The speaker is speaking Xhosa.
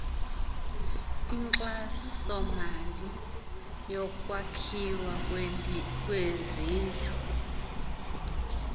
inkxasomali yokwakhiwa kwezindlu